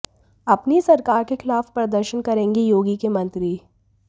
अपनी ही सरकार के खिलाफ प्रदर्शन करेंगे योगी के मंत्री